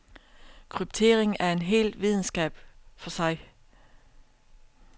Kryptering er en helt videnskab for sig.